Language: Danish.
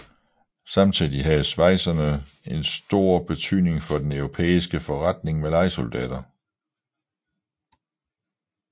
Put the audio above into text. Samtidig havde schwyzerne en stor betydning for den europæiske forretning med lejesoldater